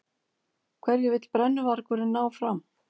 Hverju vill brennuvargurinn ná fram?